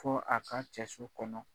Fo a ka cɛso kɔnɔ.